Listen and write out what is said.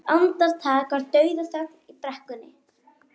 Eitt andartak var dauðaþögn í brekkunni.